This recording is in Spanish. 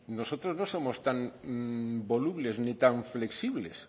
nosotros no somos tan volubles ni tan flexibles